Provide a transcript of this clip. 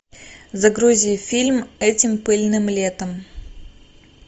загрузи фильм этим пыльным летом